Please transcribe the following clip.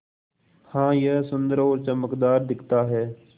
हाँ यह सुन्दर और चमकदार दिखता है